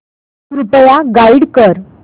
कृपया गाईड कर